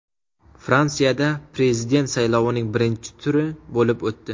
Fransiyada prezident saylovining birinchi turi bo‘lib o‘tdi.